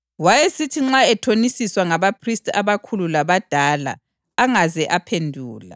Wayesithi nxa ethonisiswa ngabaphristi abakhulu labadala angaze aphendula.